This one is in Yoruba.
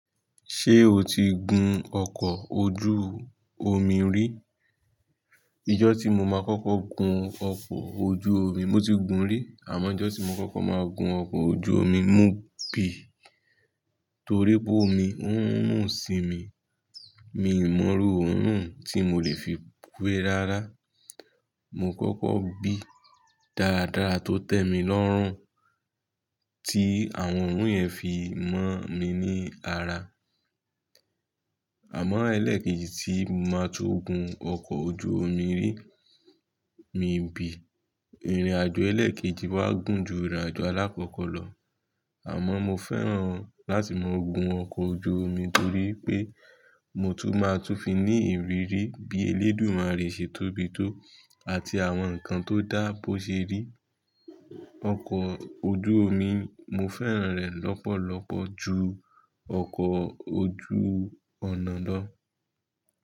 Ṣé o ti gun ọkọ̀ ojú omi rí? Ìjọ́ tí mo máa kọ́kọ́ gun ọkọ̀ ojú omi, mo ti gun rí. Àmọ́ Ìjọ́ tí mo kọ́kọ́ máa gun ọkọ̀ ojú omi, mo bì. Torí pé omi, ń run sí mi. Mi ò mọ rú òórùn tí mo lè fi wẹ rárá. Mo kọ́kọ́ bì dáadáa tó tẹ́ mi lọ́rùn, tí àwọn òórùn yẹn fi mọ́ mi ní ara. Àmọ́ ẹlẹ́ẹ̀kejì tí máa tun gun ọkọ̀ ojú omi rí, mi ò bì. Ìrìn àjò ẹlẹ́ẹ̀kejì wa gùn ju ìrìn àjò alákọ́kọ́ lọ. Àmọ́ mo fẹ́ràn láti máa gun ọkọ̀ ojú omi torí pé mo tún máa tún fi ní ìrírí bí elédùmarè ṣe tóbi tó àti àwọn nǹkan tó dáàbò ṣe rí. Ọkọ̀ ojú omi, mo fẹ́ràn rẹ̀ lọ́pọ̀lọpọ̀ ju ọkọ̀ ojú ọ̀nà lọ.